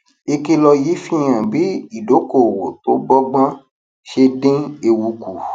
ìkìlọ yìí fi hàn bí ìdókòòwò tó bó gbón ṣe dín ewu kù